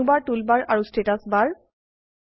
menu bar toolbar আৰু status বাৰ